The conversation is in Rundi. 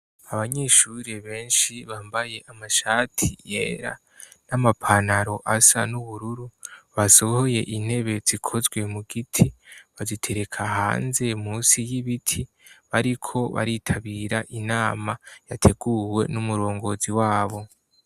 Abanyeshuri benshi bambaye amashati yera n'amapanaro asa n'ubururu, basohoye intebe zikozwe mu giti bazitereka hanze musi y'ibiti, bariko baritabira inama yateguwe n'umurongozi wabo.